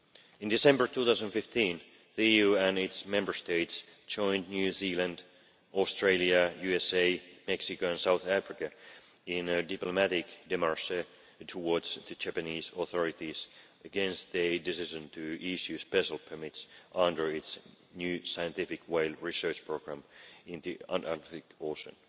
In December 2015, the EU and its Member States joined New Zealand, Australia, the USA, Mexico and South Africa in a diplomatic démarche towards the Japanese authorities against the decision to issue special permits under its new scientific whale research programme in the Antarctic Ocean